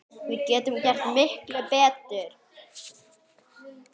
Við getum gert miklu betur!